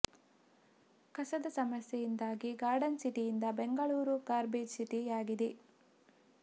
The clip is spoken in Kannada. ಕಸದ ಸಮಸ್ಯೆಯಿಂದಾಗಿ ಗಾರ್ಡನ್ ಸಿಟಿ ಯಿಂದ ಬೆಂಗಳೂರು ಗಾರ್ಬೇಜ್ ಸಿಟಿ ಯಾಗಿದೆ